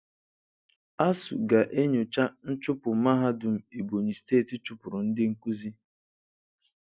ASUU ga-enyocha nchụpụ mahadum Ebonyi steeti chụpụrụ ndị nkuzi